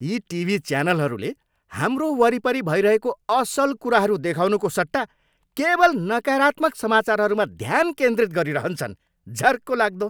यी टिभी च्यानलहरूले हाम्रो वरिपरि भइरहेको असल कुराहरू देखाउनुको सट्टा केवल नकारात्मक समाचारहरूमा ध्यान केन्द्रित गरिरहन्छन्। झर्कोलाग्दो!